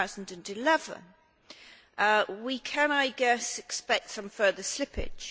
of 2011. We can, I guess, expect some further slippage.